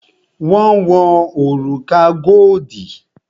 Wọn wo òrùka godi